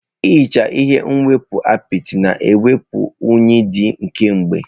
Ehichaa ihe nchekwa apịtị na-ewepụ unyi dị kemgbe.